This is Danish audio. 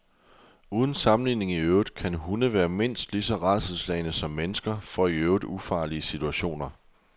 Uden sammenligning i øvrigt kan hunde være mindst lige så rædselsslagne som mennesker for i øvrigt ufarlige situationer.